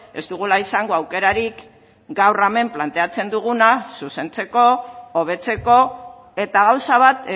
ez dugula izango aukerarik gaur hemen planteatzen duguna zuzentzeko hobetzeko eta gauza bat